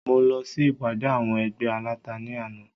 Mo lọ sí ìpàdé àwọn ẹgbẹ́ aláta ní àná